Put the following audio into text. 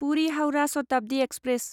Puri Howrah Shatabdi express